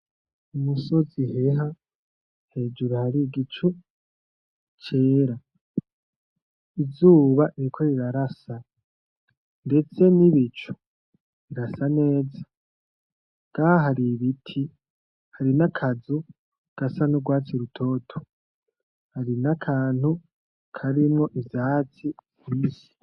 Umusozi rero, hejuru hari igicu cera. Izuba ririko rirarasa ndetse nibicu birasa neza. Ngaha hari ibiti, hari nakazu gasa nurwatsi rutoto, hari nakantu karimwo ivyatsi vyinshi.